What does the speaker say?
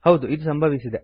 ಹೌದು ಇದು ಸಂಭವಿಸಿದೆ